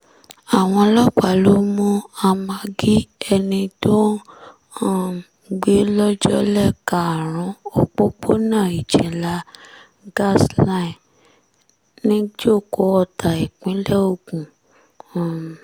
àwọn ọlọ́pàá ló mú amagi ẹni tó ń um gbé lọ́jọ́lẹ̀ karùn-ún òpópónà iginlá gas- line nìjòkò ọ̀tá ìpínlẹ̀ ogun um